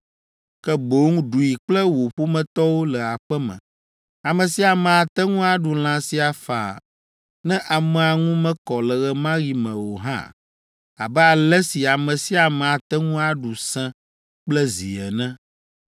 ke boŋ ɖui kple wò ƒometɔwo le aƒe me. Ame sia ame ate ŋu aɖu lã sia faa ne amea ŋu mekɔ le ɣe ma ɣi me o hã, abe ale si ame sia ame ate ŋu aɖu sẽ kple zi ene,